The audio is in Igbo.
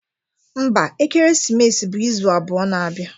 Mba, ekeresimesi bụ izu abụọ na-abịa.